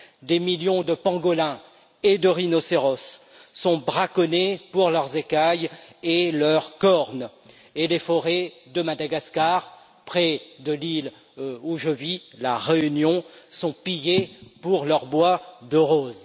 Des millions de pangolins et de rhinocéros sont braconnés pour leurs écailles et leurs cornes, et les forêts de Madagascar, près de l'île où je vis, la Réunion, sont pillées pour leur bois de rose.